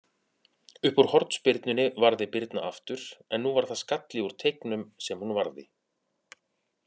Uppúr hornspyrnunni varði Birna aftur, en nú var það skalli úr teignum sem hún varði.